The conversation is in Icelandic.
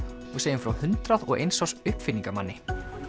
og segjum frá hundrað og eins árs uppfinningamanni